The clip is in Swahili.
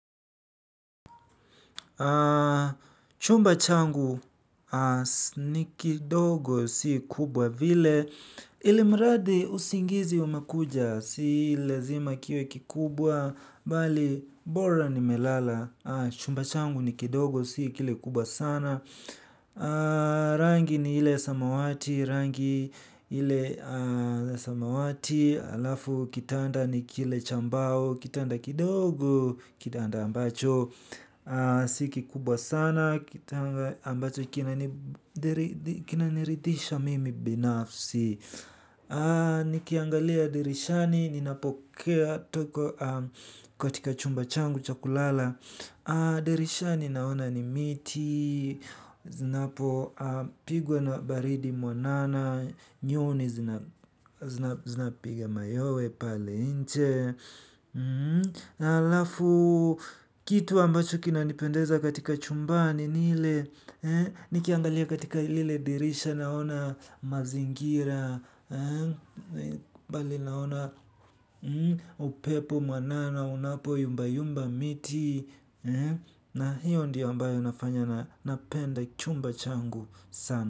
Chumba changu ni kidogo si kubwa vile. Ilimradi usingizi unakuja si lazima kiwe kikubwa. Bali bora ni melala. Chumba changu ni kidogo si kile kubwa sana. Rangi ni ile samawati. Rangi ile samawati. Alafu kitanda ni kile cha mbao. Kitanda kidogo. Kitanda ambacho sikikubwa sana. Kitanda ambacho kinaniridhisha mimi binafsi. Nikiangalia dirishani ninapokea toka katika chumba changu chakulala. Dirishani naona ni miti zinapopigwa na baridi mwanana. Nyoni zinapiga mayowe pale nje. Halafu kitu ambacho kina nipendeza katika chumbani ni ile. Nikiangalia katika lile dirisha naona mazingira bali naona upepo mwanana unapo yumba yumba miti. Na hiyo ndio ambayo inafanya napenda chumba changu sana.